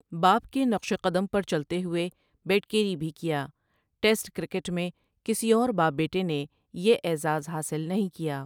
باپ کے نقشِ قدم پر چلتے ہوئے بیٹ کیری بھی کیا ٹیسٹ کرکٹ میں کسی اور باپ بیٹے نے یہ اعزاز حاصل نہیں کیا۔